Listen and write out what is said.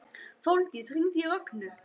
Sóldís, hringdu í Rögnu.